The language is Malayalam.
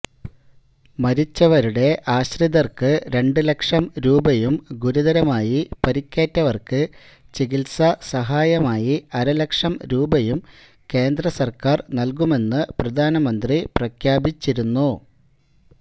മരിച്ചവരുടെ ആശ്രിതര്ക്ക് രണ്ടുലക്ഷം രൂപയും ഗുരുതരമായി പരിക്കേറ്റവര്ക്ക് ചികിത്സാസഹായമായി അരലക്ഷം രൂപയും കേന്ദ്രസര്ക്കാര് നല്കുമെന്ന് പ്രധാനമന്ത്രി പ്രഖ്യാപിച്ചിരുന്നു